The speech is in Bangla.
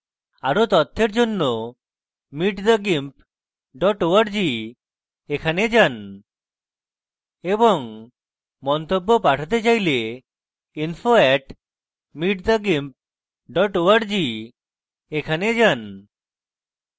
আরো তথ্যের জন্য